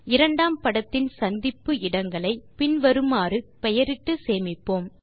இரண்டாம் படத்தின் சந்திப்பு இடங்களை பின்வருமாறு பெயரிட்டு சேமிப்போம்